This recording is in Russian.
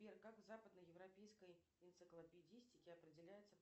сбер как в западно европейской энциклопедистике определяется